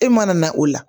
E mana na o la